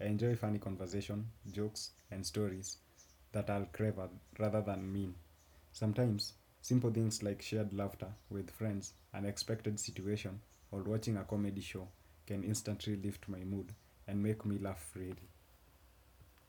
I enjoy funny conversations, jokes, and stories that are clever rather than mean sometimes simple things like shared laughter with friends, unexpected situations, or watching a comedy show can instantly lift my mood and make me laugh really.